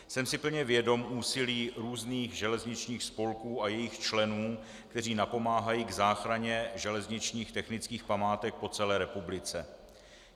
Jsem si plně vědom úsilí různých železničních spolků a jejich členů, kteří napomáhají k záchraně železničních technických památek po celé republice.